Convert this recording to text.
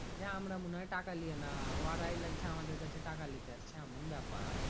যে আমরা মনে হয় টাকা লিয়ে না ওরাই লাগছে আমাদের কাছে টাকা লিতে আসছে এমন ব্যাপার